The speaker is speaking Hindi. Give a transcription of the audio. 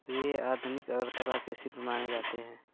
वे आधुनिक अगरतला के शिल्पी माने जाते हैं